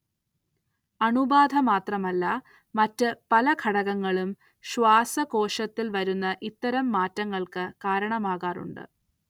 അണുബാധ മാത്രമല്ല മറ്റ് പല ഘടകങ്ങളും ശ്വാസകോശത്തിൽ വരുന്ന ഇത്തരം മാറ്റങ്ങൾക്ക് കാരണമാകാറുണ്ട്.